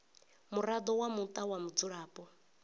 muraḓo wa muṱa wa mudzulapo